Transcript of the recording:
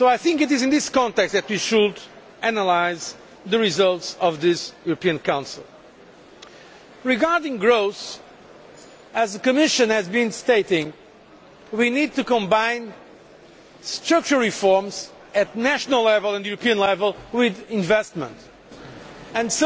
It is in this context that we should analyse the results of this European Council. Regarding growth, as the Commission has been stating, we need to combine structural reforms at national and European level with investment, and